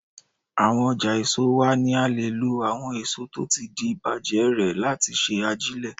Awọn ọjà èso wa ni a lè lo àwọn èso tó ti di bàjé rè láti ṣe ajílẹ̀.